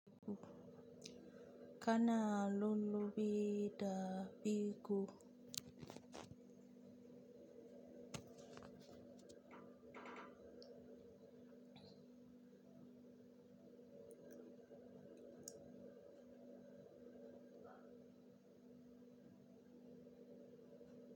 Kana lullubi da biko.